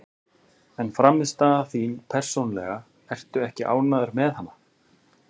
En frammistaða þín persónulega, ertu ekki ánægður með hana?